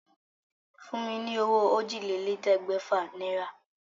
Fún mi ní owó òjìlélẹ̀ẹ́dégbèfà náírà.